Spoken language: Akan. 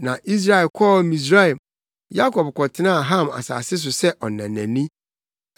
Na Israel kɔɔ Misraim; Yakob kɔtenaa Ham asase so sɛ ɔnanani.